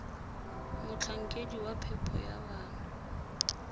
motlhankedi wa phepo ya bana